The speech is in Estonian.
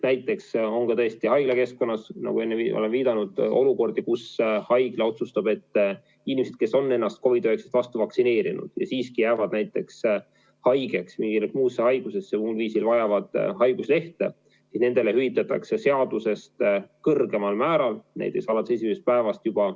Näiteks haiglakeskkonnas, nagu olen enne viidanud, võib olla olukordi, kus haigla otsustab, et inimestele, kes on ennast COVID-19 vastu vaktsineerinud ja siiski jäävad haigeks, haigestuvad kas või mingisse muusse haigusesse, muul põhjusel vajavad haiguslehte, hüvitatakse see seadusest kõrgemal määral, näiteks alates esimesest päevast.